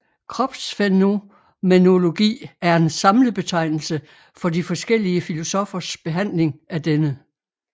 Kropsfænomenologi er en samlebetegnelse for de forskellige filosoffers behandling af denne